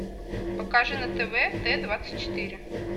покажи на тв т двадцать четыре